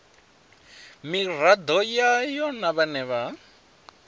miraḓo yayo na vhane vha